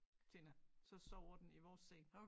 Tina så sover den i vores seng